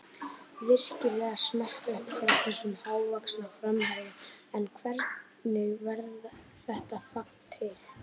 Virkilega smekklegt hjá þessum hávaxna framherja en hvernig varð þetta fagn til?